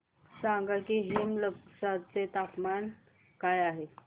सांगा की हेमलकसा चे तापमान काय आहे